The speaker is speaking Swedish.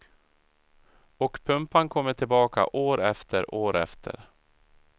Och pumpan kommer tillbaka, år efter år efter.